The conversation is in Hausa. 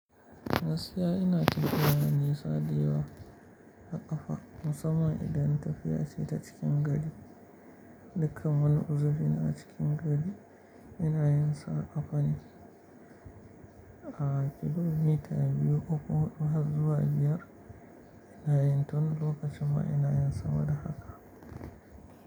Gaskiya ina tufiya da nisa da yawa. A ƙafa musamman idan tafiya ce ta cikin gari. Dukkan wani uziri na a cikin gari ina yinsa a ƙafa ne. A'a, kilomita biyu uku har zuwa biyar ina yin tun lokacin ma ina yinsa wada haka.